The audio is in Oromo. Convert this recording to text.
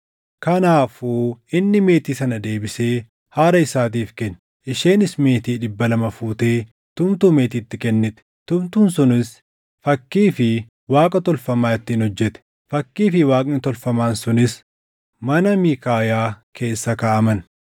Kanaafuu inni meetii sana deebisee haadha isaatiif kenne; isheenis meetii dhibba lama fuutee tumtuu meetiitti kennite; tumtuun sunis fakkii fi Waaqa tolfamaa ittiin hojjete. Fakkii fi Waaqni tolfamaan sunis mana Miikaayaa keessa kaaʼaman.